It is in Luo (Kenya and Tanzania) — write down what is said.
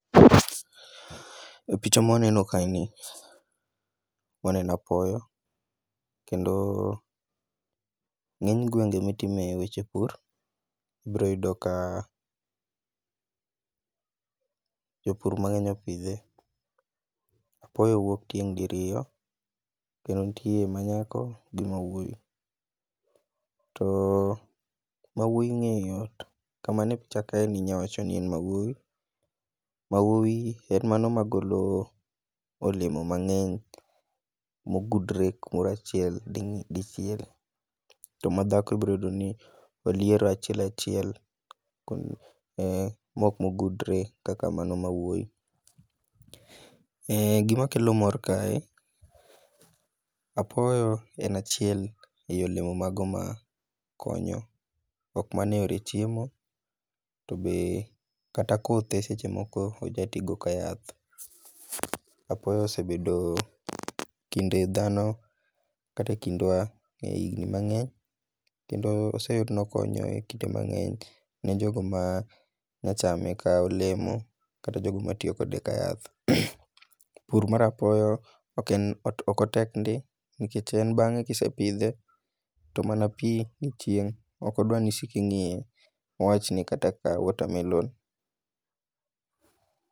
E picha ma waneno kaeni waneno apoyo kendo e ng'eny gwenge ma itime weche pur, ibiro neno ka jopur mang'eny opidhe. Apoyo wuok tieng' diriyo kendo nitie manyako gi mawuoyi. To mawuoyi ng'eyo yot ka man e picha kani inyalo wacho ni en mawuoyi, mawuoyi en mano magolo olemo mang'eny mogudre kamoro achiel dichiel. To madhako ibiro yudo ka oliero achiel achiel maok mogudre kaka mano mawuoyi. Gima kelo mor kae apoyo en achielmei olemo mago makonyo ok mana eyore chiemo to be kata kothe seche moko oja ti go kaka yath. Apoyo osebedo kinde dhano kata ekindwa e higni mang'eny kendo oseyud ni okonyo ne jogo manyachame kolemo kata jogo matiyo kode kayath. Pur mar apoyo ok otek ndi nikech en bang'e ka isepidhe to mana pi gi chieng' ok dwa ni isiko ingiye.